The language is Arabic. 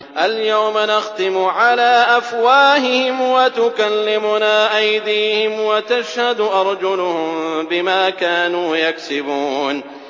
الْيَوْمَ نَخْتِمُ عَلَىٰ أَفْوَاهِهِمْ وَتُكَلِّمُنَا أَيْدِيهِمْ وَتَشْهَدُ أَرْجُلُهُم بِمَا كَانُوا يَكْسِبُونَ